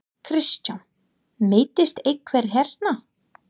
Kristján: Meiddist einhver hérna?